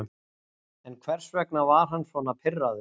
En hvers vegna var hann svona pirraður?